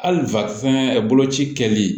Hali fɛnɛ boloci kɛli